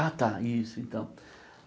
Ah tá, isso então.